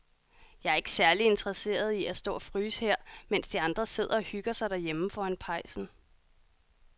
Jeg er ikke særlig interesseret i at stå og fryse her, mens de andre sidder og hygger sig derhjemme foran pejsen.